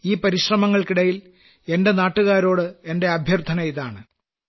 ഈ പരിശ്രമങ്ങൾക്കിടയിൽ എന്റെ നാട്ടുകാരോട് എന്റെ അഭ്യർത്ഥനയിതാണ്